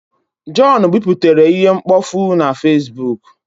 John biputere ihe mkpofu na Fesbuk